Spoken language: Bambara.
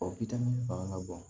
O fanga ka bon